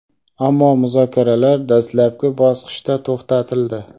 ammo muzokaralar dastlabki bosqichda to‘xtatildi.